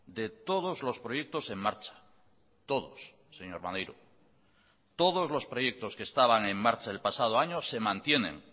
de todos los proyectos en marcha todos señor maneiro todos los proyectos que estaban en marcha el pasado año se mantienen